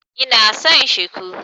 Ina son Shiku.